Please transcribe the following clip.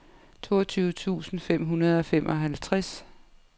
toogtyve tusind fem hundrede og femoghalvtreds